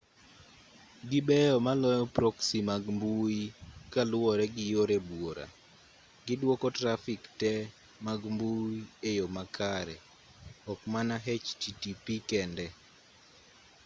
gibeyo maloyo proxy mag mbui kaluwore gi yore buora gidwoko trafik te mag mbui e yo makare ok mana http kende